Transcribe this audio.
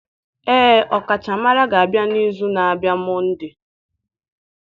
Ee, ọkachamara ga-abịa n'izu na-abịa Monday